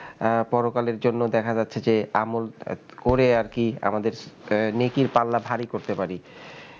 আহ পরকালের জন্য দেখা যাচ্ছে যে আমল করে আর কি আমাদের নেকির পাল্লা ভারি করতে পারি,